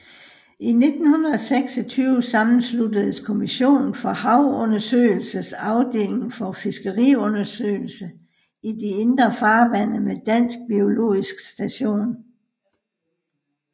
I 1926 sammensluttedes Kommissionen for Havundersøgelsers Afdeling for Fiskeriundersøgelser i de Indre Farvande med Dansk biologisk Station